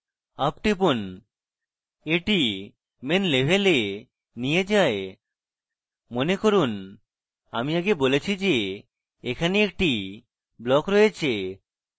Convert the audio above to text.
up টিপুন এটি main level নিয়ে যায় মনে করুন আমি আগে বলেছি যে এখানে একটি block রয়েছে